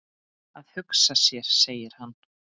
Að hugsa sér segir hann.